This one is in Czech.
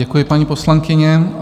Děkuji, paní poslankyně.